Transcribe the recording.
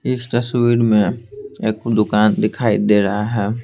इस तस्वीर में एक दुकान दिखाई दे रहा है।